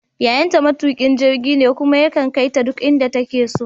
Yayanta matukin jirgi ne kuma yakan kai ta duk inda take so.